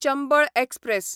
Chambal express